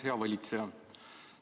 Hea valitseja!